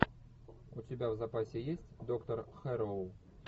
у тебя в запасе есть доктор хэрроу